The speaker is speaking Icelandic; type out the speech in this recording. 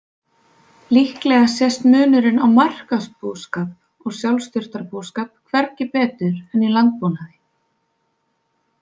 Líklega sést munurinn á markaðsbúskap og sjálfsþurftabúskap hvergi betur en í landbúnaði.